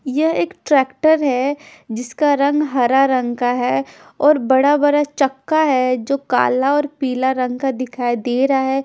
यह एक ट्रेक्टर है जिसका रंग हरा रंग का है और बड़ा बरा चक्का है जो काला और पिला रंग का दिखाई दे रहा है।